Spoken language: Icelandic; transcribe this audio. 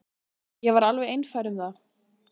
Ég var alveg einfær um það.